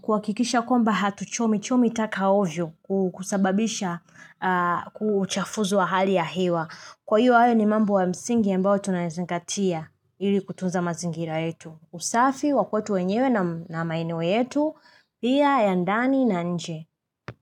kuakikisha komba hatuchomi-chomi taka ovyo kusababisha huchafuzi wa hali ya hewa. Kwa hiyo hayo ni mambo ya msingi ya ambayo tunayezingatia ili kutunza mazingira yetu. Usafi wakwetu wenyewe na maeneo yetu, pia ya ndani na nje.